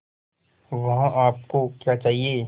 वहाँ आप को क्या चाहिए